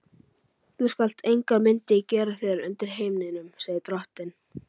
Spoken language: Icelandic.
Þú skalt engar myndir gera þér undir himninum, segir drottinn.